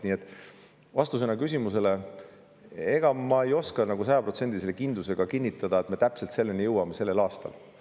Nii et vastus küsimusele: ma ei saa sajaprotsendilise kindlusega kinnitada, et me jõuame selleni täpselt sellel[, 2030.